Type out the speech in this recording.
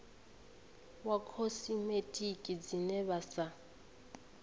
wa khosimetiki dzine vha sa